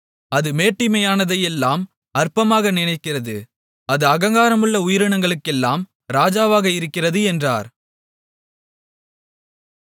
அது மேட்டிமையானதையெல்லாம் அற்பமாக நினைக்கிறது அது அகங்காரமுள்ள உயிரினங்களுக்கெல்லாம் ராஜாவாக இருக்கிறது என்றார்